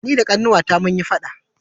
ni da Ƙanwata mun yi faɗa